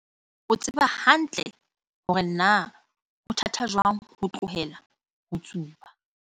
O tseba hantle hore na ho thata jwang ho tlohela ho tsuba.